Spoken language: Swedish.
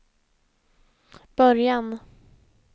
början